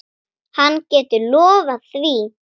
Hann getur lofað því.